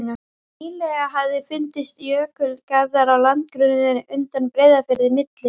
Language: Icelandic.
Nýlega hafa fundist jökulgarðar á landgrunninu undan Breiðafirði, milli